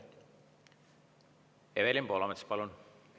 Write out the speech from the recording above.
Evelin Poolamets, palun!